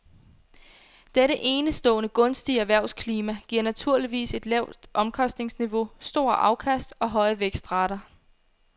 Dette enestående gunstige erhvervsklima giver naturligvis et lavt omkostningsniveau, store afkast og høje vækstrater.